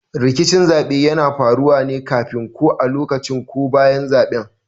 Rikicin zaɓe yana faruwa ne kafin, ko a lokacin ko bayan zaben.